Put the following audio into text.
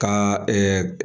Ka